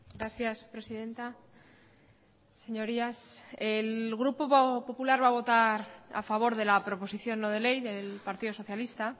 gracias presidenta señorías el grupo popular va a votar a favor de la proposición no de ley del partido socialista